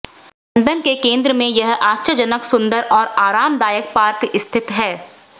London के केंद्र में यह आश्चर्यजनक सुंदर और आरामदायक पार्क स्थित है